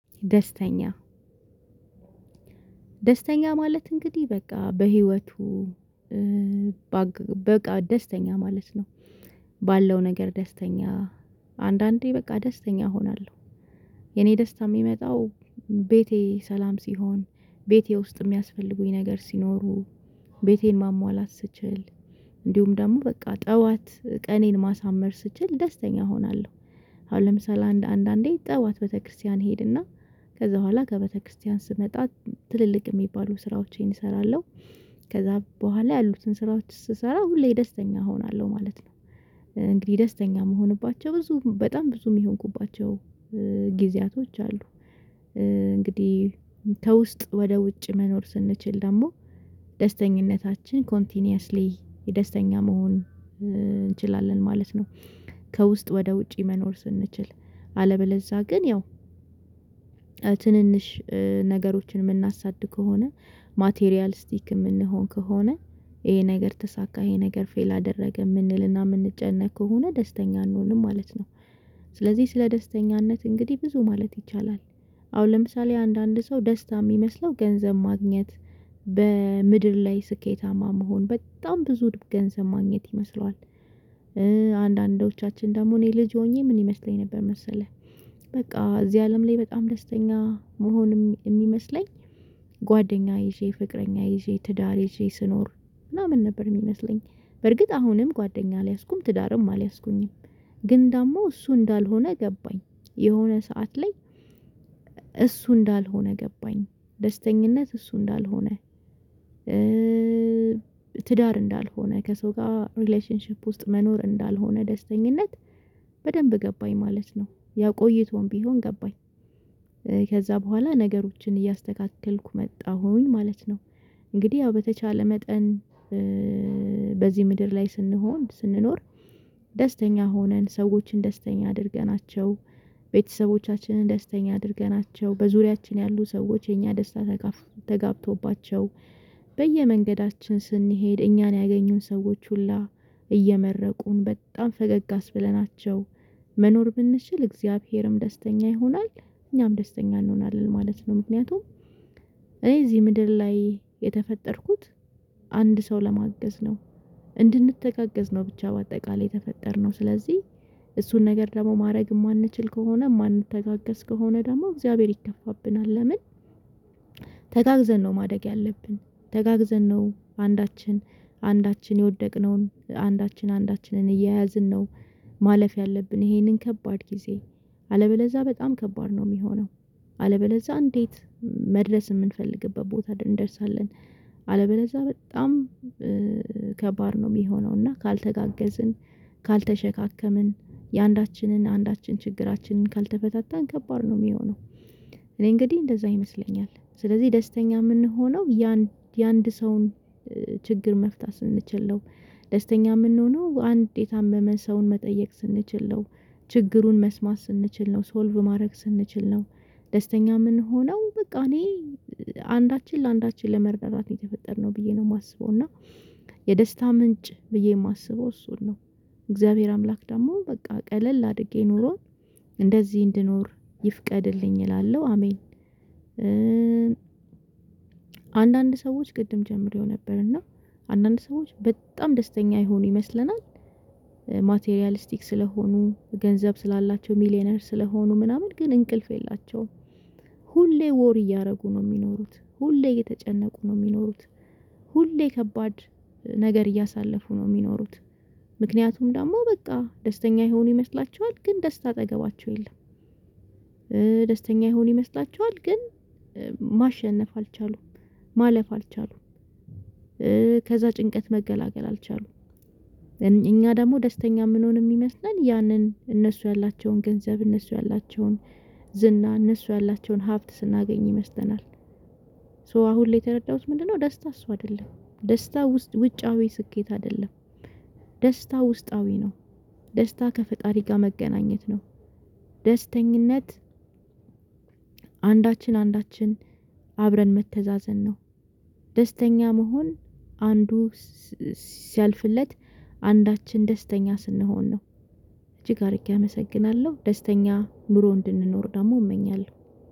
ደስተኛ ደስተኛ ማለት እንግዲህ በቃ በህይወቱ በቃ ደስተኛ ማለት ነው። ባለው ነገር ደስተኛ አንዳንዴ በቃ ደስተኛ እሆናለሁ። የኔ ደስታ የሚመጣው ቤቴ ሰላም ሲሆን ቤቴ ውስጥ የሚያስፈልጉኝ ነገር ሲኖሩ ቤቴን ማሟላት ስችል እንዲሁም ደግሞ በቃ ጠዋት ቀኔን ማሳመር ስችል ደስተኛ እሆናለሁ። አሁን ለምሳሌ አንድ አንድ አንዴ ጠዋት ቤተክርስቲያን ሄድና ከዛ በኋላ ከቤተክርስቲያን ስመጣ ትልልቅ የሚባሉ ስራዎቼን እሰራለሁ። ከዛ በኋላ ያሉትን ስራዎች ስሰራ ሁሌ ደስተኛ እሆናለሁ ማለት ነው። እንግዲህ ደስተኛ የምሆንባቸው ብዙ በጣም ብዙ የሚሆንባቸው ጊዜያቶች አሉ። እንግዲህ ከውስጥ ወደ ውጭ መኖር ስንችል ደግሞ ደስተኝነታችን ኮንቲኒየስሊ የደስተኛ መሆን እንችላለን ማለት ነው። ከውስጥ ወደ ውጪ መኖር ስንችል አለበለዛ ግን ያው ትንንሽ ነገሮችን የምናሳድግ ከሆነ ማቴሪያል ስቲክ የምንሆን ከሆነ ይሄ ነገር ተሳካ ይሄ ነገር ፌል አደረገ የምንልና የምንጨነቅ ከሆነ ደስተኛ አንሆንም ማለት ነው። ስለዚህ ስለ ደስተኛነት እንግዲህ ብዙ ማለት ይቻላል። አሁን ለምሳሌ አንዳንድ ሰው ደስታ የሚመስለው ገንዘብ ማግኘት በምድር ላይ ስኬታማ መሆን በጣም ብዙ ገንዘብ ማግኘት ይመስለዋል። አንዳንዶቻችን ደግሞ እኔ ልጅ ሆኜ ምን ይመስለኝ ነበር መሰለህ? በቃ እዚህ አለም ላይ በጣም ደስተኛ መሆንም የሚመስለኝ ጓደኛ ይዤ ፍቅረኛ ይዤ ትዳር ይዤ ስኖር ምናምን ነበር የሚመስለኝ በርግጥ አሁንም ጓደኛ አልያዝኩም ትዳርም አልያዝኩኝም። ግን ደግሞ እሱ እንዳልሆነ ገባኝ። የሆነ ሰዓት ላይ እሱ እንዳልሆነ ገባኝ። ደስተኝነት እሱ እንዳልሆነ ትዳር እንዳልሆነ ከሰው ጋር ሪሌሽንሺፕ ውስጥ መኖር እንዳልሆነ ደስተኛነት። በደንብ ገባኝ ማለት ነው ያ ቆቶም ቢሆን ገባኝ። ከዛ በኋላ ነገሮችን እያስተካከልኩ መጣሁኝ ማለት ነው። እንግዲህ ያው በተቻለ መጠን በዚህ ምድር ላይ ስንሆን ስንኖር ደስተኛ ሆነን ሰዎችን ደስተኛ አድርገናቸው። ቤተሰቦቻችንን ደስተኛ አድርገናቸው በዙሪያችን ያሉ ሰዎች የኛ ደስታ ተጋብቶባቸው። በየመንገዳችን ስንሄድ እኛን ያገኙን ሰዎች ሁላ እየመረቁን በጣም ፈገግ አስብለናቸው መኖር ብንችል እግዚአብሔርም ደስተኛ ይሆናል። እኛም ደስተኛ እንሆናለን ማለት ነው። ምክንያቱም እኔ እዚህ ምድር ላይ የተፈጠርኩት አንድ ሰው ለማገዝ ነው። እንድንተጋገዝ ነው ብቻ በአጠቃላይ ተፈጠርነው ስለዚህ። እሱን ነገር ደግሞ ማድረግ የማንችል ከሆነ ማንተጋገዝ ከሆነ ደግሞ እግዚአብሔር ይከፋብናል ለምን? ተጋግዘን ነው ማደግ ያለብን። ተጋግዘን ነው አንዳችን አንዳችን የወደቅነውን አንዳችን አንዳችንን እየያዝን ነው። ማለፍ ያለብን ይሄንን ከባድ ጊዜ አለበለዛ በጣም ከባድ ነው የሚሆነው። አለበለዛ እንዴት? መድረስ የምንፈልግበት ቦታ እንደርሳለን። አለበለዛ በጣም ከባድ ነው የሚሆነው እና ካልተጋገዝን ካልተሸከመን የአንዳችንን አንዳችን ችግራችንን ካልተፈታታን ከባድ ነው የሚሆነው። እኔ እንግዲህ እንደዛ ይመስለኛል ስለዚህ ደስተኛ የምንሆነው የአንድ ሰውን ችግር መፍታት ስንችል ነው። ደስተኛ የምንሆነው አንድ የታመመን ሰውን መጠየቅ ስንችል ነው። ችግሩን መስማት ስንችል ነው ሶልቭ ማድረግ ስንችል ነው። ደስተኛ ምን ሆነው በቃ እኔ አንዳችን ለአንዳችን ለመረዳዳት ነው የተፈጠርነው ብዬ ነው የማስበው። እና የደስታ ምንጭ ብዬ የማስበው እሱን ነው። እግዚአብሔር አምላክ ደግሞ በቃ ቀለል አድጌ ኖሮን እንደዚህ እንድኖር ይፍቀድልኝ እላለሁ። አሜን። አንዳንድ ሰዎች ቅድም ጀምሬው ነበር እና አንዳንድ ሰዎች በጣም ደስተኛ ይሁኑ ይመስለናል። ማቴሪያሊስቲክ ስለሆኑ ገንዘብ ስላላቸው ሚሊየነር ስለሆኑ ምናምን ግን እንቅልፍ የላቸውም። ሁሌ ወር እያደረጉ ነው የሚኖሩት ሁሌ የተጨነቁ ነው የሚኖሩት። ሁሌ ከባድ ነገር እያሳለፉ ነው የሚኖሩት። ምክንያቱም ደግሞ በቃ ደስተኛ ይሁኑ ይመስላቸዋል ግን ደስታ አጠገባቸው የለም። ደስተኛ ይሁን ይመስላቸዋል ግን ማሸነፍ አልቻሉም። ማለፍ አልቻሉም። ከዛ ጭንቀት መገላገል አልቻሉም እኛ ደግሞ ደስተኛ የምንሆን የሚመስለን ያንን እነሱ ያላቸውን ገንዘብ እነሱ ያላቸውን ዝና እነሱ ያላቸውን ሀብት ስናገኝ ይመስጠናል። ሶ አሁን ላይ የተረዳሁት ምንድነው? ደስታ እሱ አይደለም። ደስታ ውጫዊ ስኬት አይደለም። ደስታ ውስጣዊ ነው። ደስታ ከፈጣሪ ጋር መገናኘት ነው። ደስተኛነት። ደስተኝነት አንዳችን አንዳችን አብረን መተዛዘን ነው። ደስተኛ መሆን አንዱ ሲያልፍለት አንዳችን ደስተኛ ስንሆን ነው። እጅግ አድርጌ አመሰግናለሁ ደስተኛ ኑሮ እንድንኖር ደግሞ እመኛለሁ።